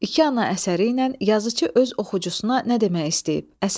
İki ana əsəri ilə yazıçı öz oxucusuna nə demək istəyib?